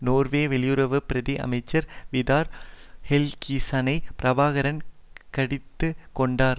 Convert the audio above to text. Norway வெளியுறவு பிரதி அமைச்சர் விதார் ஹெல்கிசனை பிரபாகரன் கடிந்து கொண்டார்